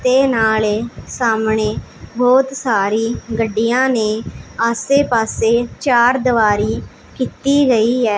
ਤੇ ਨਾਲੇ ਸਾਹਮਣੇ ਬੋਹੁਤ ਸਾਰੀ ਗੱਡੀਆਂ ਨੇਂ ਆਸੇ ਪਾੱਸੇ ਚਾਰਦੀਵਾਰੀ ਕੀਤੀ ਗਈ ਹੈ।